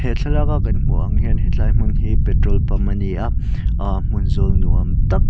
thlalak a kan hmuh ang hian hetlai hmun hi petrol pump ani a aah hmun zawl nuam tak--